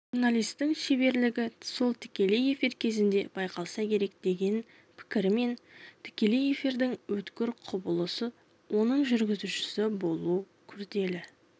журналистің шеберлігі сол тікелей эфир кезінде байқалса керек деген пікірімен тікелей эфирдің өткір құбылыс оның жүргізушісі болу күрделі